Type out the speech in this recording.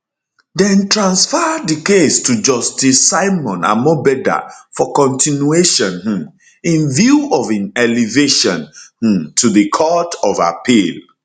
dem transfer di case to justice simon amobeda for continuation um in view of im elevation um to di court of appeal